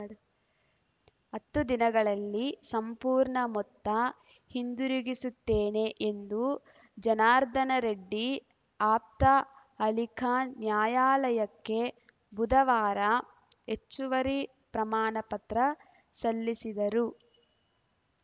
ಹತ್ತು ದಿನಗಳಲ್ಲಿ ಸಂಪೂರ್ಣ ಮೊತ್ತ ಹಿಂದಿರುಗಿಸುತ್ತೇನೆ ಎಂದು ಜನಾರ್ದನ ರೆಡ್ಡಿ ಆಪ್ತ ಅಲಿಖಾನ್‌ ನ್ಯಾಯಾಲಯಕ್ಕೆ ಬುಧವಾರ ಹೆಚ್ಚುವರಿ ಪ್ರಮಾಣ ಪತ್ರ ಸಲ್ಲಿಸಿದರು